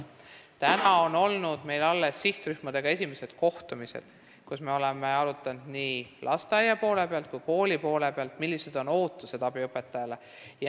Praeguseks on meil toimunud sihtrühmadega alles esimesed kohtumised, kus me oleme arutanud nii lasteaia kui ka kooli seisukohalt, millised on ootused abiõpetajale.